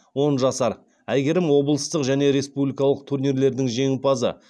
он жасар әйгерім облыстық және республикалық турнирлердің жеңімпазы